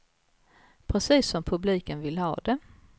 Precis som publiken vill ha det.